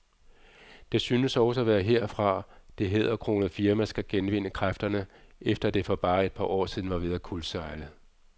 Det synes også at være herfra, det hæderkronede firma skal genvinde kræfterne, efter at det for bare et par år siden var ved at kuldsejle.